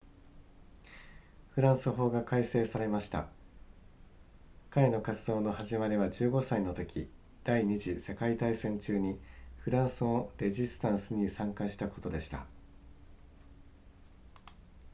フランス法が改正されました彼の活動の始まりは15歳のとき第二次世界大戦中にフランスのレジスタンスに参加したことでした